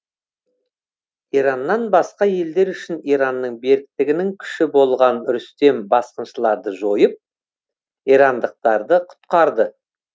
ираннан басқа елдер үшін иранның беріктігінің күші болған рүстем басқыншыларды жойып ирандықтарды құтқарды